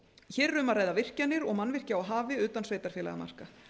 hér erum að ræða virkjanir og mannvirki á hafi utan sveitarfélagamarka